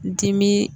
Dimi